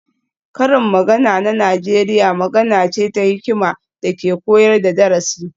Karin magana na Najeriya magana ce ta hikima da ke koyar da darasi